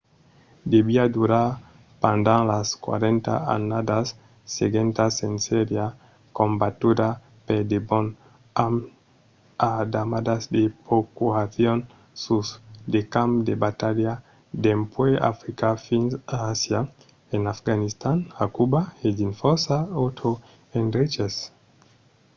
deviá durar pendent las 40 annadas seguentas e seriá combatuda per debon amb d'armadas de procuracion sus de camps de batalha dempuèi africa fins a àsia en afganistan a cuba e dins fòrça autres endreches